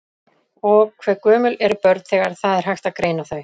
Og hve gömul eru börn þegar það er hægt að greina þau?